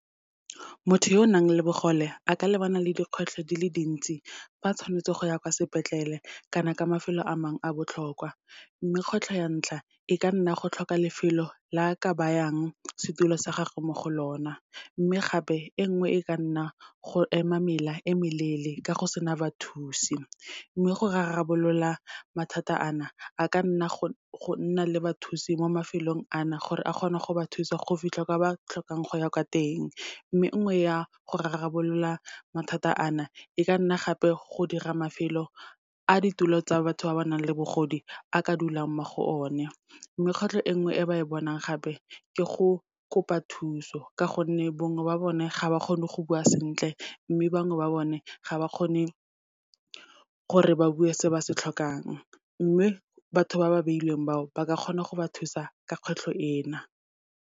Motho yo o nang le bogole, a ka lebana le dikgwetlho dile dintsi, fa tshwanetse go ya kwa sepetlele kana kwa mafelo a mangwe a botlhokwa. Mme kgwetlho ya ntlha, e ka nna go tlhoka lefelo le a ka bayang setulo sa gage mo go lona. Mme gape, e nngwe e ka nna go ema mela e meleele, ka go sena bathusi. Mme go rarabolola mathata a na, a ka nna go nna le bathusi mo mafelong a na, gore a kgone go ba thusa go fitlha kwa ba tlhokang go ya kwa teng. Mme nngwe ya go rarabolola mathata a na, e ka nna gape go dira mafelo a ditulo tsa batho ba ba nang le bogodi, a ka dulang mo go o ne. Mme kgwetlho e nngwe e ba e bonang gape, ke go kopa thuso, ka gonne bongwe ba bone, ga ba kgone go bua sentle, mme bangwe ba bone ga ba kgone gore ba bue se ba se tlhokang. Mme batho ba ba beilweng bao, ba ka kgona go ba thusa ka kgwetlho ena.